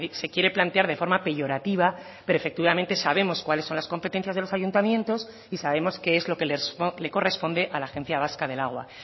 se quiere plantear de forma peyorativa pero efectivamente sabemos cuáles son las competencias de los ayuntamientos y sabemos qué es lo que le corresponde a la agencia vasca del agua